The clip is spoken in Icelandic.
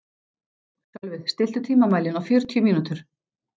Sölvi, stilltu tímamælinn á fjörutíu mínútur.